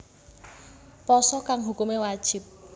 Pasa kang hukumé wajib